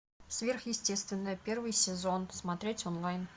сверхъестественное первый сезон смотреть онлайн